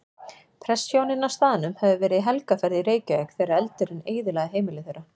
Prestshjónin á staðnum höfðu verið í helgarferð í Reykjavík þegar eldurinn eyðilagði heimili þeirra.